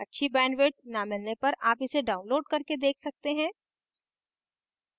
अच्छी bandwidth न मिलने पर आप इसे download करके देख सकते हैं